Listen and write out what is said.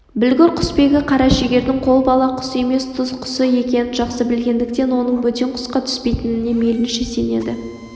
білгір құсбегі қарашегірдің қолбала құс емес түз құсы екенін жақсы білгендіктен оның бөтен құсқа түспейтініне мейлінше сенеді